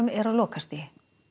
er á lokastigi